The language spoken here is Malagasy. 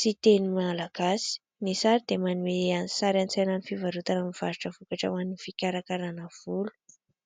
sy teny malagasy , ny sary dia manome ny sary an-tsaina ny fivarotana mivarotra vokatra hoan'ny fikarakarana volo.